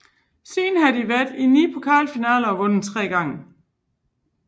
Siden havde de været i ni pokalfinaler og vundet tre gange